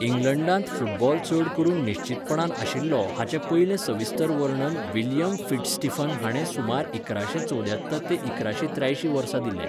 इंग्लंडांत football चड करून निश्चीतपणान आशिल्लो हाचें पयलें सविस्तर वर्णन विल्यम फिट्झस्टीफन हाणें सुमार इकराशें चौद्यात्तर ते इकराशें त्र्यायशीं वर्सा दिलें.